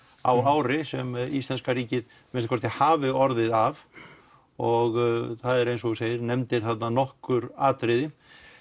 á ári sem íslenska ríkið að minnsta kosti hafi orðið af og það er eins og þú segir nefndir nokkur atriði